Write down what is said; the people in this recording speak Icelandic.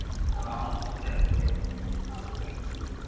Hvað haldið þið að ég hafi fundið börnin mín?